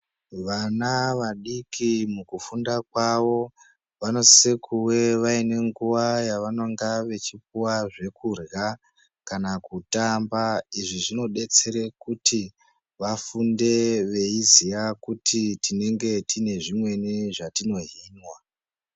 Vana vadiki mukufunda kwavo vanosise kuve vaine nguva yavanonga vachipuva zvekurya kana kutamba. Izvi zvinobetsere kuti vafunde veiziya kuti tinenge tine zvimweni zvatinohinwa.